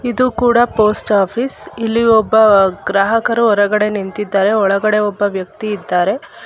ಇದು ಕೂಡ post office ಇಲ್ಲಿ ಒಬ್ಬ ಗ್ರಾಹಕರು ಹೊರಗಡೆ ನಿಂತಿದ್ದಾರೆ ಒಳಗಡೆ ಒಬ್ಬ ವ್ಯಕ್ತಿ ಇದ್ದಾರೆ.